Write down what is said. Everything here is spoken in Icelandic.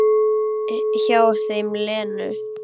Hjá þeim Lenu.